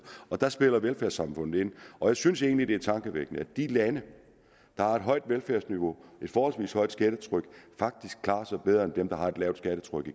der spiller velfærdssamfundet ind og jeg synes egentlig at det er tankevækkende at de lande der har et højt velfærdsniveau og et forholdsvis højt skattetryk faktisk klarer sig bedre end dem der har et lavt skattetryk